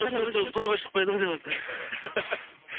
үркер тобы тойға шықпайды ғой деватсаң иә